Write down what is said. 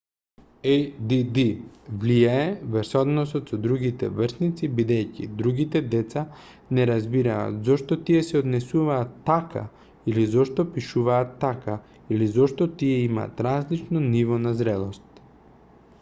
add влијае врз односите со другите врсници бидејќи другите деца не разбираат зошто тие се однесуваат така или зошто пишуваат така или зошто тие имаат различно ниво на зрелост